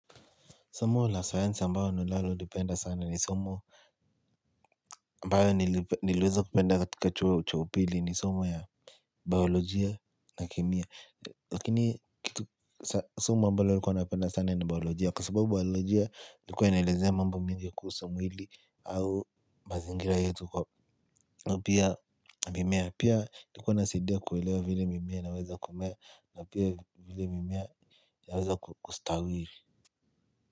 Somo la sayansi ambayo ninalolipenda sana ni somo. Ambayo niliweza kupenda katika chuo cha upili ni somo ya. Biolojia na kemia. Lakini kitu somo ambayo nilikuwa napenda sana ni biolojia. Kwa sababu biolojia ilikuwa inaelezea mambo mingi ya kuhusu mwili. Au mazingira yetu kwa. Pia mimea. Pia ilikuwa inasidia kuelewa vile mimea inaweza kumea. Na pia vile mimea yaweza kustawiri.